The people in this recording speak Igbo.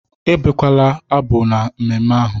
Abukwala abụ na mmemme ahụ!